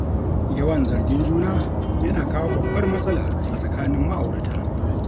Yawan zargin juna, yana kawo babbar matsala a tsakanin ma'aurata.